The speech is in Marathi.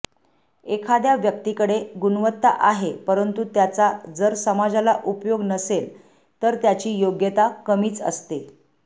एखाद्या व्यक्तीकडे गुणवत्ता आहे परंतु त्याचा जर समाजाला उपयोग नसेल तर त्याची योग्यता कमीच असते